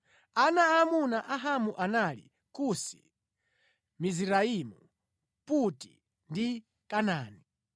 Ana aamuna a Hamu anali: Kusi, Miziraimu, Puti ndi Kanaani